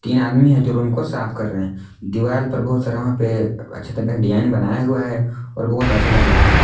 इन आदमी है जो रूम को साफ कर रहे हैं दीवाल पर बहुत सारा वहां पे अच्छे तरह का डिजाइन बनाया हुआ है और बहुत अच्छा लग रहा है।